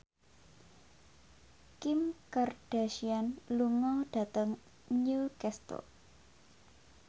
Kim Kardashian lunga dhateng Newcastle